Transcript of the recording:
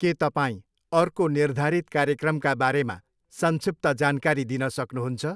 के तपाईँ अर्को निर्धारित कार्यक्रमका बारेमा संक्षिप्त जानकारी दिन सक्नुहुन्छ?